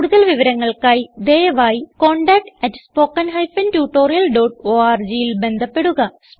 കുടുതൽ വിവരങ്ങൾക്കായി ദയവായി contactspoken tutorialorgൽ ബന്ധപ്പെടുക